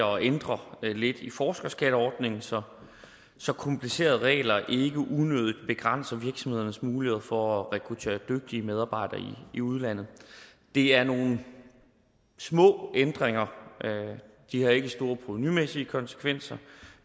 og ændrer lidt i forskerskatteordningen så så komplicerede regler ikke unødigt begrænser virksomhedernes muligheder for at rekruttere dygtige medarbejdere i udlandet det er nogle små ændringer de har ikke store provenumæssige konsekvenser